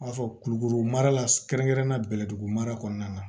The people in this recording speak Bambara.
N b'a fɔ kulukuru mara la kɛrɛnkɛrɛnnenya bɛ dugu mara kɔnɔna na